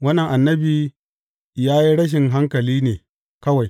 Wannan annabi ya yi rashin hankali ne kawai.